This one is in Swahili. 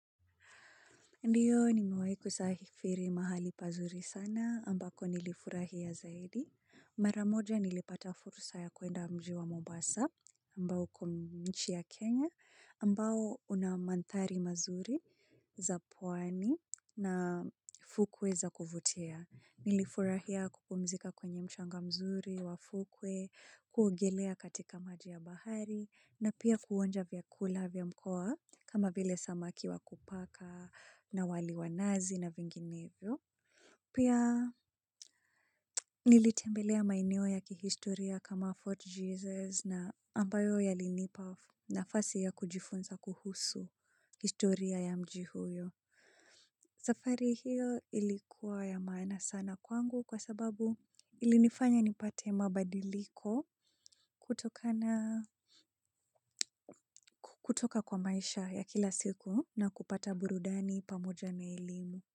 Ndiyo nimewahi kusafiri mahali pazuri sana ambako nilifurahia zaidi. Mara moja nilipata fursa ya kuenda mji wa Mombasa ambao uko nchi ya Kenya ambao una mandhari mazuri za pwani na fukwe za kuvutia. Nilifurahia kupumzika kwenye mchanga mzuri wa fukwe, kuogelea katika maji ya bahari na pia kuonja vyakula vya mkoa kama vile samaki wa kupaka. Na wali wa nazi na vinginevyo. Pia nilitembelea maeneo ya kihistoria kama Fort Jesus na ambayo yalinipa nafasi ya kujifunza kuhusu historia ya mji huyo. Safari hii ilikuwa ya maana sana kwangu kwa sababu ilinifanya nipate mabadiliko kutokana kutoka kwa maisha ya kila siku na kupata burudani pamoja na elimu.